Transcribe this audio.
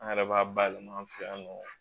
An yɛrɛ b'a bayɛlɛma an fɛ yan nɔ